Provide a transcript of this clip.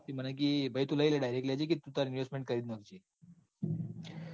મને કી ભાઈ તું લઇલે લેજે કી investment કરી લેજે.